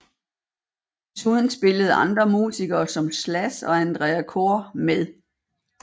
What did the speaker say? Desuden spillede andre musikere som Slash og Andrea Corr med